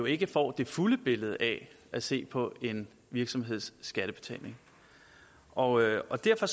ikke får det fulde billede af at se på en virksomheds skattebetaling og og derfor